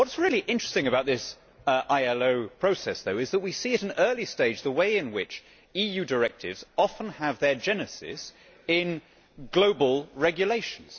What is really interesting about this ILO process, though, is that we are seeing at an early stage the way in which EU directives often have their genesis in global regulations.